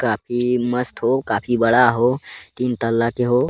काफी मस्त हो काफी बड़ा हो तीन तल्ला के हो।